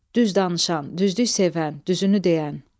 Düz danışan, düzlük sevən, düzünü deyən.